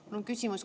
Mul on küsimus.